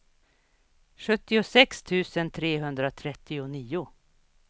sjuttiosex tusen trehundratrettionio